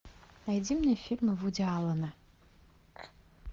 найди мне фильмы вуди аллена